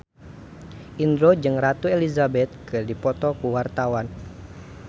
Indro jeung Ratu Elizabeth keur dipoto ku wartawan